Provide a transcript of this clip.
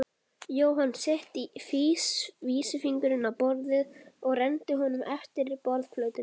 Jóhann setti vísifingurinn á borðið og renndi honum eftir borðplötunni.